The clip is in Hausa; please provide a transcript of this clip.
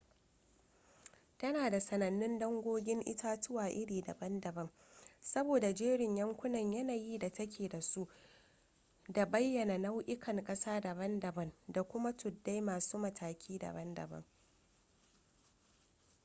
tana da sanannun dangogin itatuwa iri daban-daban sabo da jerin yankunan yanayi da ta ke da su da bayyana nau'ukan ƙasa daban-daban da kuma tuddai masu mataki daban-daban